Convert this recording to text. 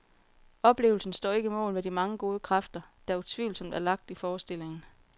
Oplevelsen står ikke mål med de mange gode kræfter, der utvivlsomt er lagt i forestillingen.